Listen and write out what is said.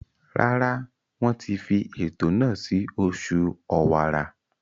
Rárá, Wọ́n ti fi ètò náà sí oṣù ọ̀wàrà.